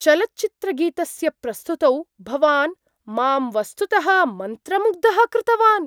चलच्चित्रगीतस्य प्रस्तुतौ भवान् मां वस्तुतः मन्त्रमुग्धं कृतवान्!